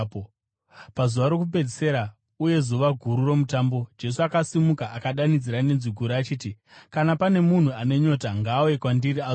Pazuva rokupedzisira uye zuva guru roMutambo, Jesu akasimuka akadanidzira nenzwi guru achiti, “Kana pane munhu ane nyota, ngaauye kwandiri azonwa.